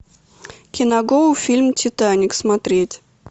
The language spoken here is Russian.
киногоу фильм титаник смотреть